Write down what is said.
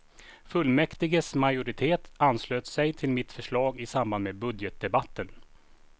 Fullmäktiges majoritet anslöt sig till mitt förslag i samband med budgetdebatten.